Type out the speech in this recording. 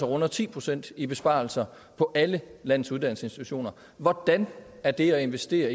runder ti procent i besparelse på alle landets uddannelsesinstitutioner hvordan er det at investere